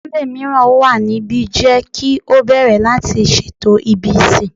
Sunday miiran wa nibi, jẹ ki o bẹrẹ lati ṣeto ibi isin